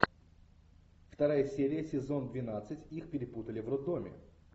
вторая серия сезон двенадцать их перепутали в роддоме